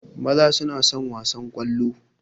Maza suna son wasan ƙwallo